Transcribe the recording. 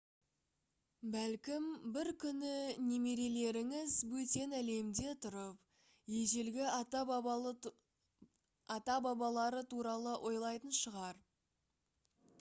бәлкім бір күні немерелеріңіз бөтен әлемде тұрып ежелгі ата-бабалары туралы ойлайтын шығар